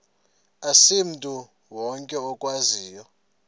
asimntu wonke okwaziyo